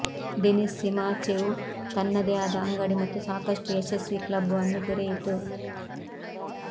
Denis Simachev ತನ್ನದೇ ಆದ ಅಂಗಡಿ ಮತ್ತು ಸಾಕಷ್ಟು ಯಶಸ್ವಿ ಕ್ಲಬ್ ಅನ್ನು ತೆರೆಯಿತು